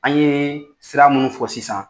An ye sira munun fɔ sisan